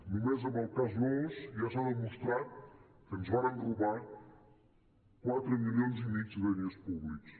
només amb el cas nóos ja s’ha demostrat que ens varen robar quatre milions i mig de diners públics